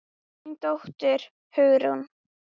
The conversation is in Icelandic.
Þín dóttir, Hugrún.